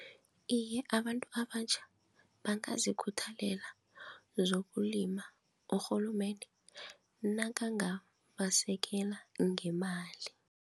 Iye, abantu abatjha bangazikhuthalela zokulima urhulumende nakangabasekela ngemali.